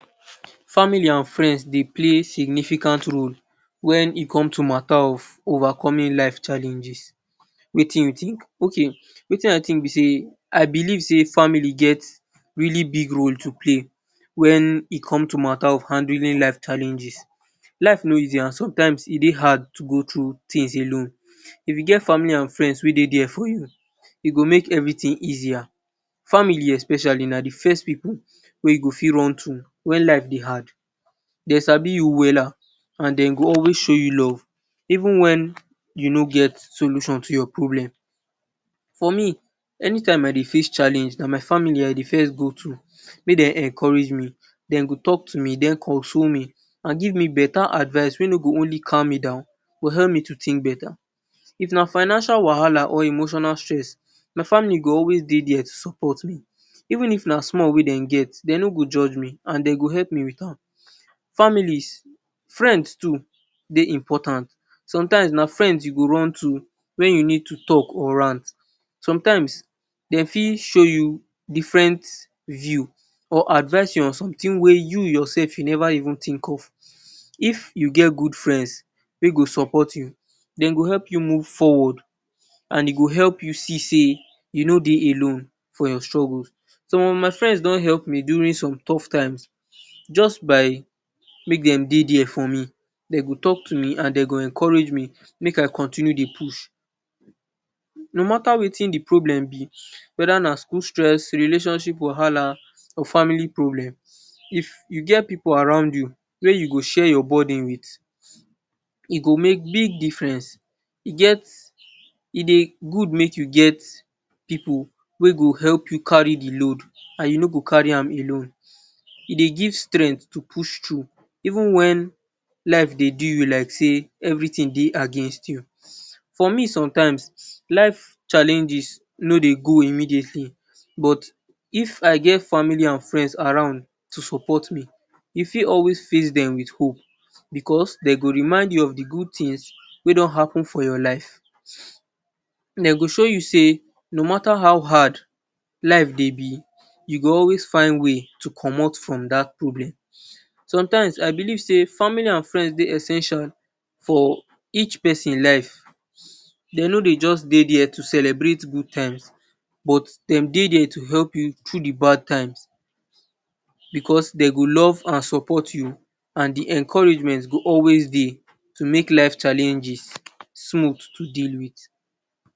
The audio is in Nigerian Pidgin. Family and friends Dey play significant role wen e come to matter of overcoming life challenges, Wetin u think? Ok Wetin I think b sey I believe sey family get really big role to play wen e come to matter if handling life challenges, life ni Dey easy and sometimes e Dey hard to go thru thing alone, if u get family and friends wey Dey there for u e go make everything easier, family especially na d first pipu Wey u go fit run to when life Dey hard, dem sabi u well and dem go always show u love even when u no get solution to your problem, for me anytime wey I Dey face challeng na my family I Dey first go to make dem encourage me, dem go talk to me den console me, give me beta advice wey no go only calm me down but help me to think beta, if na financial wahala or emotional stress my family go always Dey there to support me even if na small wey dem get, dem no go judge me dem go help me with an, family, friends to dey important, sometimes na friends u go run to when u need to talk or rant, sometimes dem for shoe u different views or advice u on something wey u your self u Neva think if, if u get good friends wey go support u dem go help I move forward and e go help u see sey I no dey alone for your struggles, some of my friends don help me during tough times just by make dem dey there for me, dem go talk to me and dem go encourage me make I continue dey push, no matter Wetin b problem b wether na school stress, relationship wahala or family problem if u get pipu around u wey u go share your burden with, e go make big difference e get, e dey good make u get pipu wey go help u carry d load, and u no go carry an alone, e dey give strength to oust thru eve. Wen life dey do u like sey everything dey against you, for me like dis life challenges no dey go immediately but if I get family and friends around to support me, I fit always face dem with hope because dem go remind u go d good things wey don happen for your life dem go show ubsey no matter how hard life b u go always get way to commot from dat problem, sometimes I belong sey family and friends Dey essence for each person life, dem no Dey jus Dey there to celebrate good times, but dem Dey there to help u thru d bad times, because dem go live and support u and encouragement go always Dey to make life challenges smooth to deal with.